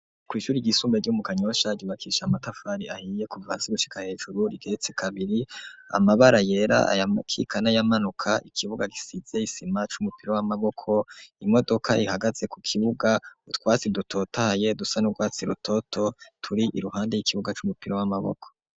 Kw'ishure ryisumbuye ryo mu Kanyosha ryubakishije amatafari ahiye kuva hasi gushika hejuru rigeretse kabiri amabara yera aya mukika n'ayamanuka ikibuga gisize isima c'umupira w'amaboko imodoka ihagaze ku kibuga utwatsi dutotahaye dusa n'urwatsi rutoto turi iruhande y'ikibuga c'umupira w'amaboko.